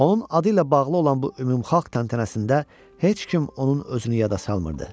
Onun adı ilə bağlı olan bu ümumxalq təntənəsində heç kim onun özünü yada salmırdı.